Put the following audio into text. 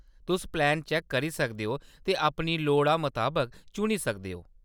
तुस plan check करी सकदे ओ ते अपनी लोड़ा मताबक चुनी सकदे ओ।